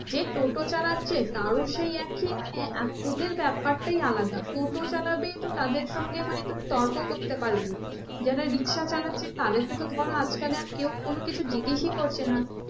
যে টোটো চালাচ্ছে তার ও সেই একই মানে এক ব্যাপারটাই আলাদা টোটো চালাবে তো তাদের সঙ্গে মানে তুমি তর্ক করতে পারবে না, যারা রিকশা চালাচ্ছে তাদেরকে তো ধরো আজকাল আর কেও কোনো কিছু জিজ্ঞেসই করছে না